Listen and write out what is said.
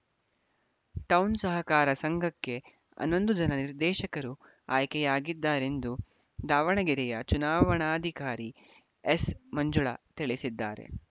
town ಸಹಕಾರ ಸಂಘಕ್ಕೆ ಹನ್ನೊಂದು ಜನ ನಿರ್ದೇಶಕರು ಆಯ್ಕೆಯಾಗಿದ್ದಾರೆಂದು ದಾವಣಗೆರೆಯ ಚುನಾವಣಾಧಿಕಾರಿ ಎಸ್‌ ಮಂಜುಳಾ ತಿಳಿಸಿದ್ದಾರೆ